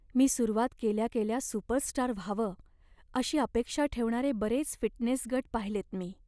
मी सुरुवात केल्या केल्या सुपरस्टार व्हावं अशी अपेक्षा ठेवणारे बरेच फिटनेस गट पाहिलेत मी.